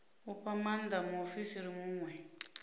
u fha maanda muofisiri muṅwe